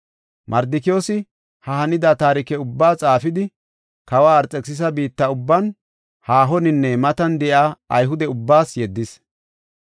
Mardikiyoosi ha hanida taarike ubbaa xaafidi, kawa Arxekisisa biitta ubban, haahoninne matan de7iya Ayhude ubbaas yeddis.